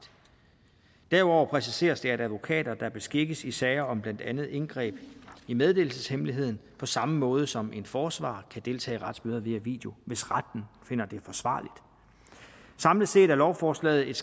derudover præciseres det at advokater der beskikkes i sager om blandt andet indgreb i meddelelseshemmeligheden på samme måde som en forsvarer kan deltage i retsmøder via video hvis retten finder det forsvarligt samlet set er lovforslaget et